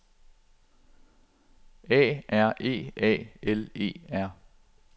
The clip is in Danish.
A R E A L E R